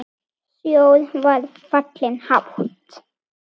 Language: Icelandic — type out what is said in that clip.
Sjór var fallinn hátt.